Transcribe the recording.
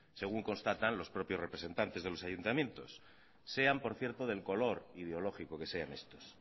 según constatan los propios representantes de los ayuntamientos sean por cierto del color ideológico que sean estos